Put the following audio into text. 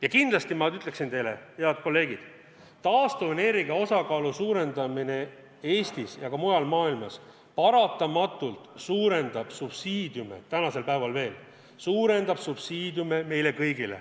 Ja kindlasti ma ütleksin teile, head kolleegid, et taastuvenergia osakaalu suurendamine Eestis ja ka mujal maailmas paratamatult suurendab subsiidiume, mida maksma me peame kõik.